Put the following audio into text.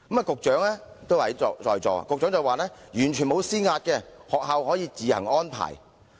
局長現時也在席，他說完全沒有施壓，學校可以自行安排。